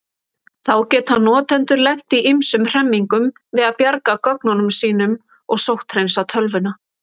Þá geta notendur lent í ýmsum hremmingum við að bjarga gögnunum sínum og sótthreinsa tölvuna.